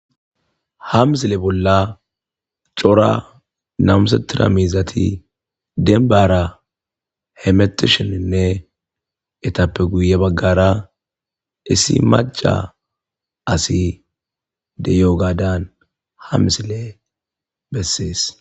Ha misile bolla cora namusetira miizati denbara hemetishininne etappe guye baggara issi macca asi de'iyogadan ha misile besses.